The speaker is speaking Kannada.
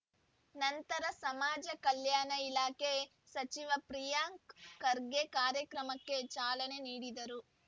ನಂತರ ಸಮಾಜ ಕಲ್ಯಾಣ ಇಲಾಖೆ ಸಚಿವ ಪ್ರಿಯಾಂಕ್‌ ಖರ್ಗೆ ಕಾರ್ಯಕ್ರಮಕ್ಕೆ ಚಾಲನೆ ನೀಡಿದರು